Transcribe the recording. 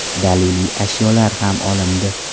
Daliliy ashyolar ham olindi.